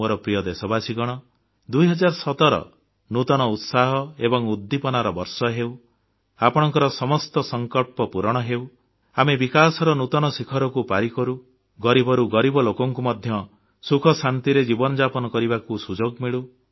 ମୋର ପ୍ରିୟ ଦେଶବାସୀଗଣ 2017 ନୂତନ ଉତ୍ସାହ ଏବଂ ଉଦ୍ଦୀପନାର ବର୍ଷ ହେଉ ଆପଣଙ୍କ ସମସ୍ତ ସଂକଳ୍ପ ପୂରଣ ହେଉ ଆମେ ବିକାଶର ନୂତନ ଶିଖରକୁ ପାରି କରୁ ଗରିବରୁ ଗରିବ ଲୋକଙ୍କୁ ମଧ୍ୟ ସୁଖ ଶାନ୍ତିରେ ଜୀବନଯାପନ କରିବାକୁ ସୁଯୋଗ ମିଳୁ